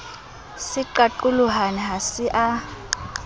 se qaqolohane ha se a